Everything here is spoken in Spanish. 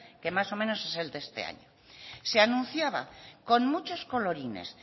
que más o menos es el de este año se anunciaba con muchos colorines